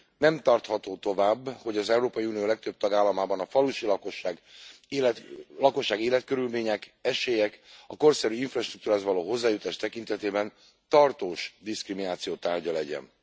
Nem tartható tovább, hogy az Európai Unió legtöbb tagállamában a falusi lakosság életkörülmények, esélyek, a korszerű infrastruktúrához való hozzájutás tekintetében tartós diszkrimináció tárgya legyen.